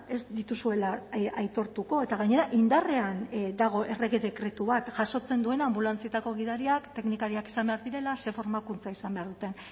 ez dituzuela aitortuko eta gainera indarrean dago errege dekretu bat jasotzen duena anbulantzietako gidariak teknikariak izan behar direla ze formakuntza izan behar duten